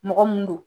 Mɔgɔ mun don